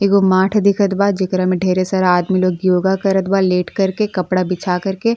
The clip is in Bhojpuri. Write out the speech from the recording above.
एगो माठ दिखत बा। जेकरा मे डेरे सारा आदमी लोग योग करता लेट करके कपड़ा बिछा करके।